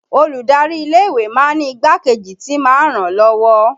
Olùdarí ilé ìwé máa ń ní igbákejì tí máa ń ràn án lọ́wọ́